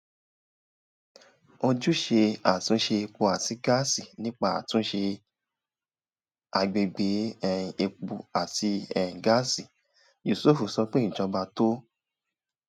ojúṣe àtúnṣe epo àti gáàsì: nípa àtúnṣe agbègbè um epo àti um gáàsì yusuf sọ pé ìjọba tó